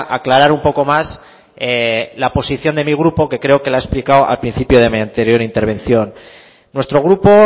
aclarar un poco más la posición de mi grupo que creo que la he explicado al principio de mi anterior intervención nuestro grupo